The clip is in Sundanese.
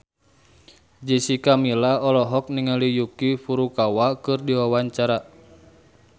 Jessica Milla olohok ningali Yuki Furukawa keur diwawancara